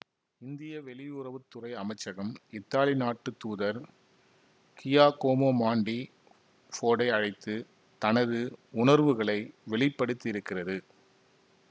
இந்திய வெளியுறவு துறை அமைச்சகம் இத்தாலி நாட்டு தூதர் கியாகோமோ மாண்டி ஃபோர்ட்டை அழைத்து தனது உணர்வுகளை வெளிப்படுத்தியிருக்கிறது